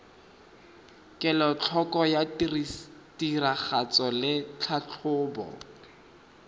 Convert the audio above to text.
kelotlhoko ya tiragatso le tlhatlhobo